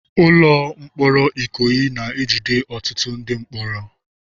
Ụlọ mkpọrọ Ikoyi na-ejide ọtụtụ ndị mkpọrọ.